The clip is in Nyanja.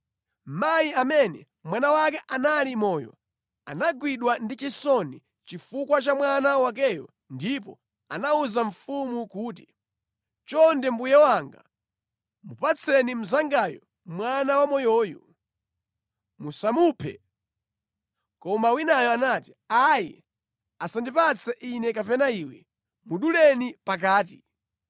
Mayi amene mwana wake anali moyo anagwidwa ndi chisoni chifukwa cha mwana wakeyo ndipo anawuza mfumu kuti, “Chonde mbuye wanga, mupatseni mnzangayu mwana wamoyoyu! Musamuphe!” Koma winayo anati, “Ayi, asandipatse ine kapena iwe. Muduleni pakati!”